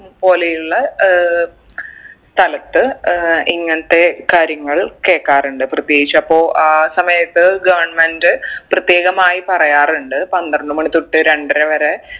പോലെയുള്ള ഏർ സ്ഥലത്ത് ഏർ ഇങ്ങനത്തെ കാര്യങ്ങൾ കേക്കാറുണ്ട് പ്രത്യേകിച്ച് അപ്പൊ ആ സമയത്ത് government പ്രത്യേകമായി പറയാറുണ്ട് പന്ത്രണ്ട് മണി തൊട്ട് രണ്ടര വരെ